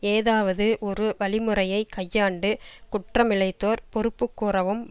ஏதாவது ஒரு வழிமுறையைக் கையாண்டு குற்றமிழைத்தோர் பொறுப்பு கூறவும்